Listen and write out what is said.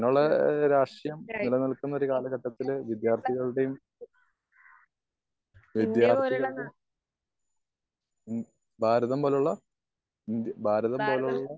ഉം ഇന്റെ പോലുള്ള നാ ഭാരതമെന്ന്